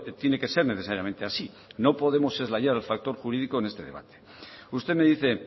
tiene que ser necesariamente así no podemos el factor jurídico en este debate usted me dice